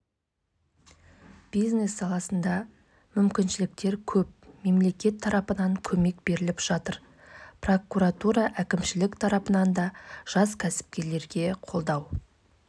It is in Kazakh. алты бұрыштарды бір-бірімен қосқан кезде толық қосылады бір емес бірнеше үйшіктердің қосындысын жасауға болады жоба бойынша